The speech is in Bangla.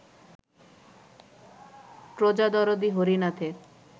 প্রজাদরদি হরিনাথের